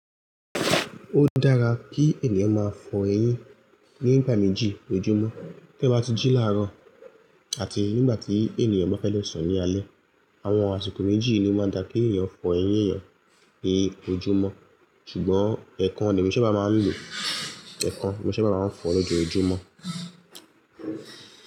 Ó dára kí ènìyàn máa fọ eyín nígbà méjì lójúmọ́. Bí èyàn bá ti jí láárọ̀ àti nígbà tí ènìyàn bá fẹ́ lọ sùn ní alẹ́. Àwọn àsìkò méjì ni ó máa dà kí èyàn fọ eyín yẹn ní ojúmọ́ ṣùgbọ́n ẹ̀ẹ̀kan ni emi sábá máa ń lò. Ẹ̀ẹ̀kan ni mo ṣábà máa ń fọ lójoojúmọ́.